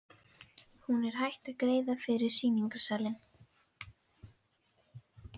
Hún er hætt að greiða fyrir sýningarsali.